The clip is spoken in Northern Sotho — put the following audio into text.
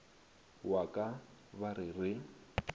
wa ka ba re re